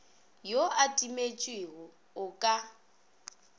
yo a timetšego o ka